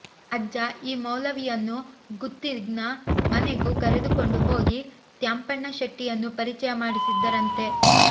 ಅಜ್ಜ ಈ ಮೌಲವಿಯನ್ನು ಗುತ್ತಿನ ಮನೆಗೂ ಕರೆದುಕೊಂಡು ಹೋಗಿ ತ್ಯಾಂಪಣ್ಣ ಶೆಟ್ಟಿಯನ್ನೂ ಪರಿಚಯ ಮಾಡಿಸಿದ್ದರಂತೆ